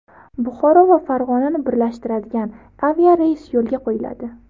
Buxoro va Farg‘onani birlashtiradigan aviareys yo‘lga qo‘yiladi.